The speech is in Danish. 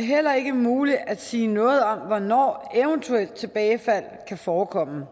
heller ikke muligt at sige noget om hvornår eventuelt tilbagefald kan forekomme